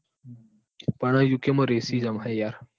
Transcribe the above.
પણ યુકે માં racism હ યાર.